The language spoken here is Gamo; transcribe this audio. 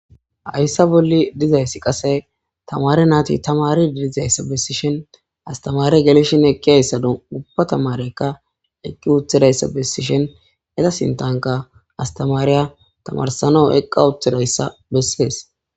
hayssa bolli dizayssi qase tamare naati tamadi dizayssa bessishen astamaare gelshin eqqihayssa dupa tamareykka eqqi uthidayssa bessishen eza sintanka astamaariya tamarsano eqqa uthidayssa bessees